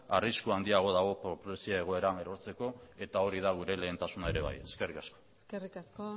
arrisku handiagoa dago pobrezia egoeran erortzeko eta hori da gure lehentasuna ere bai eskerrik asko eskerrik asko